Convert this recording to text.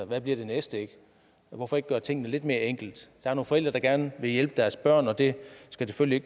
hvad bliver det næste hvorfor ikke gøre tingene lidt mere enkelt der er nogle forældre der gerne vil hjælpe deres børn og det skal selvfølgelig